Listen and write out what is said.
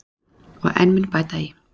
Og enn mun bæta í.